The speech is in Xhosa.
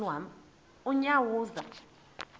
unyawuza